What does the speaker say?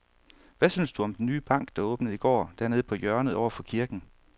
Hvad synes du om den nye bank, der åbnede i går dernede på hjørnet over for kirken?